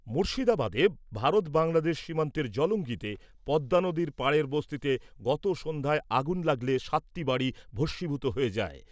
মুর্শিদাবাদে, ভারত বাংলাদেশ সীমান্তের জলঙ্গীতে, পদ্মানদীর পাড়ের বস্তিতে গত সন্ধ্যায় আগুন লাগলে, সাতটি বাড়ি ভস্মীভূত হয়ে যায়।